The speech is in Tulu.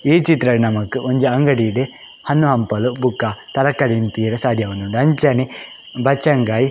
ಈ ಚಿತ್ರಡ್ ನಮಕ್ ಒಂಜಿ ಅಂಗಡಿಡ್ ಹಣ್ಣು ಹಂಪಲು ಬೊಕ ತರಕಾರಿನಿ ತೂವರೆ ಸಾದ್ಯ ಆವೊಂದುಂಡು ಅಂಚನೆ ಬಚಂಗಾಯಿ .